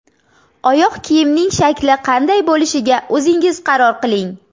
Oyoq kiyimning shakli qanday bo‘lishiga o‘zingiz qaror qiling.